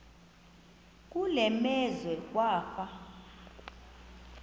kule meazwe kwafa